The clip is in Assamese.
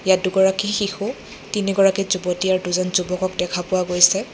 ইয়াত দুগৰাকী শিশু তিনিগৰাকী যুৱতী আৰু দুজন যুৱকক দেখা পোৱা গৈছে।